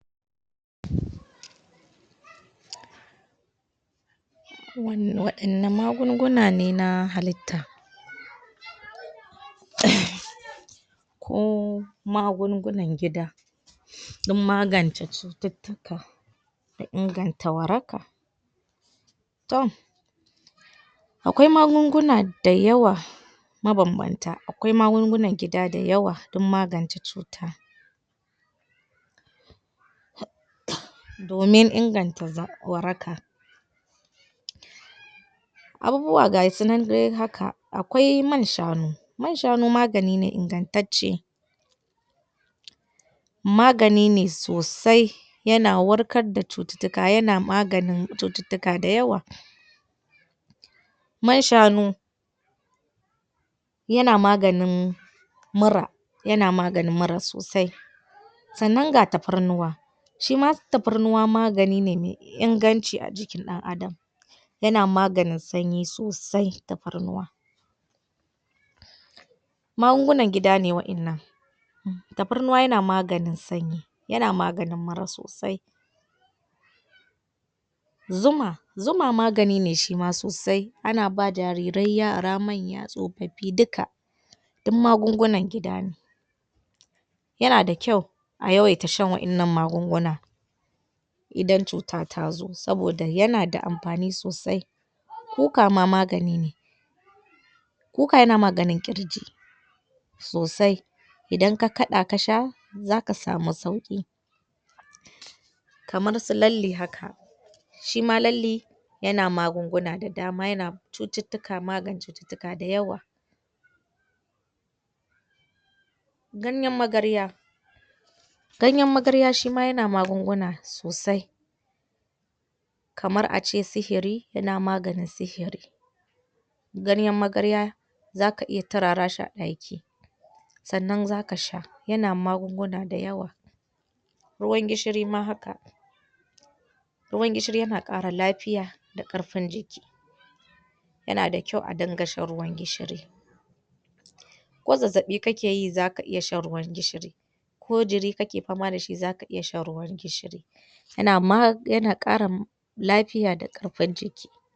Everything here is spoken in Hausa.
Waɗanne magunguna ne na halitta um ko magungunan gida don magance cututtuka da inganta waraka tom akwai magunguna dayawa mabambanta akwai magungunan gida dayawa don magance cuta um domin inganta waraka abubuwa ga su nan dai haka akwai man shanu man shanu magani ne ingantacce magani ne sosai yana warkar da cututtuka yana maganin cututtuka dayawa man shanu yana maganin mura yana maganin mura sosai sannan ga tafarnuwa shi ma tafarnuwa magani ne me inganci a jikin ɗan Adam yana maganin sanyi sosai tafarnuwa magungunan gida ne waɗannan um tafarnuwa yana maganin sanyi yana maganin mura sosai zuma zuma magani ne shi ma sosai ana ba jarirai yara manya tsofaffi duka duk magungunan gida ne yana da kyau a yawaita shan waƴannan magungunan idan cuta ta zo saboda yana da amfani sosai kuka ma magani ne kuka yana maganin ƙirji sosai idan ka kaɗa ka sha zaka samu sauƙi kamar su lalle haka shi ma lalle yana magunguna da dama yana cututtuka magance cututtuka dayawa ganyen magarya ganyen magarya shi ma yana magunguna sosai kamar a ce sihiri yana maganin sihiri ganyen magarya za ka iya turara shi a ɗaki sannan zaka sha yana magunguna dayawa ruwan gishiri ma haka ruwan gishiri yana ƙara lafiya da ƙarfin jiki yana da kyau a dinga shan ruwan gishiri ko zazzaɓi kake yi zaka iya shan ruwan gishiri ko jiri kake fama da shi zaka iya shan ruwan gishiri yana? yana ƙara? lafiya da ƙarfin jiki